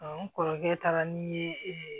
n kɔrɔkɛ taara ni ye ee